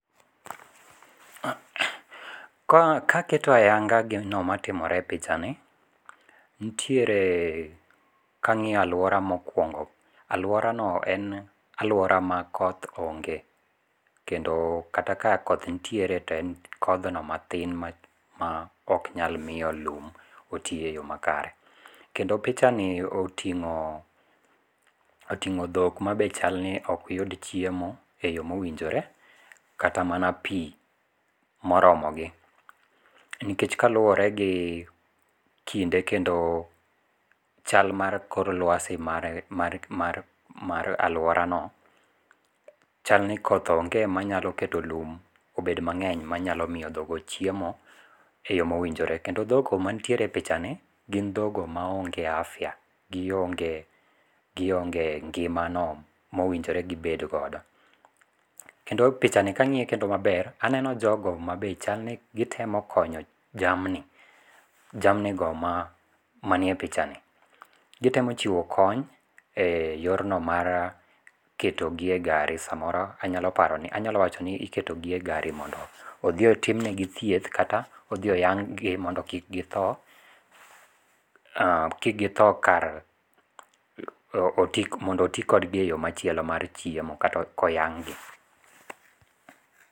Ka kaketo ayanga gina matimore e picha ni, nitiere kangíyo alwora mokwongo, alwora no en alwora ma koth onge. To kendo kata ka koth nitiere to en thodhno mathin ma ma oknyal miyo lum oti e yo makae. Kendo picha ni otingó otingó dhok ma be chal ni ok yud chiemo e yo mowinjo kata mana pi moromogi. Nikech kaluwore gi kinde kendo chal mar kor lwasi mar, mar, mar, mar alworano, chalni koth onge manyalo keto lum obed mangény manyalo miyo dhoggo chiemo e yo mowinjore. Kendo dhoggo mantiere e pichani gin dhoggo maonge afya, gionge, gionge ngimano mowinjore gi bed godo. Kendo picha ni kangíye kendo maber, aneno jogo ma be chalni gitemo konyo jamni, jamni go manie pichani. Gitemo chiwo kony e yorno mar keto gi e gari samoro anyalo paroni, anyalo wachoni iketo gi e gari mondo odhi otimnegi thieth kata odhi oyang'gi mondo kik githo, kik githo kar mondo oti kodgi e yo machielo mar chiemo kata ka oyang'gi.